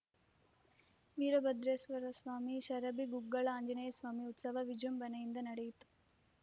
ವೀರಭದ್ರೇಶ್ವರ ಸ್ವಾಮಿ ಷರಭಿ ಗುಗ್ಗಳ ಆಂಜನೇಯಸ್ವಾಮಿ ಉತ್ಸವ ವಿಜೃಂಭಣೆಯಿಂದ ನಡೆಯಿತು